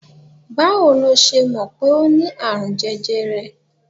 Báwo ló ṣe mọ̀ pé o ní àrùn jẹjẹrẹ?